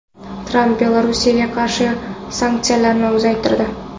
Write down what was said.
Tramp Belarusga qarshi sanksiyalarni uzaytirdi.